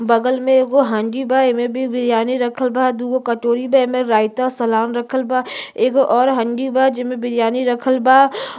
बगल में एगो हांडी बा एमे भी बिरियानी राखल बा दुगो कटोरी बा एमे रायता सलाद राखल बा एगो और हांडी बा जेमे बिरियानी राखल ब।